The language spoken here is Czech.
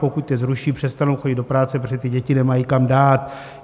Pokud je zruší, přestanou chodit do práce, protože ty děti nemají kam dát.